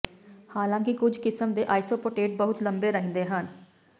ਹਾਲਾਂਕਿ ਕੁਝ ਕਿਸਮ ਦੇ ਆਈਸੋਪੋਟੇਟ ਬਹੁਤ ਲੰਬੇ ਰਹਿੰਦੇ ਹਨ